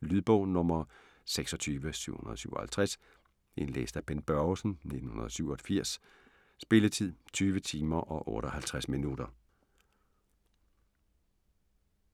Lydbog 26757 Indlæst af Bent Børgesen, 1987. Spilletid: 20 timer, 58 minutter.